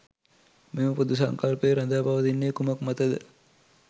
මෙම පොදු සංකල්පය රඳා පවතින්නේ කුමක් මත ද?